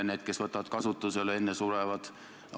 Need, kes võtavad kasutusele, aga enne surevad.